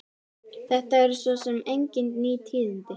Þetta eru svo sem engin ný tíðindi.